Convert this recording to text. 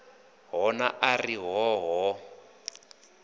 hona a ri hoo hoo